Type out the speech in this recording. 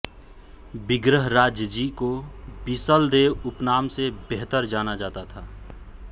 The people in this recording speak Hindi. विग्रहराज जी को बिसल देव उपनाम से बेहतर जाना जाता था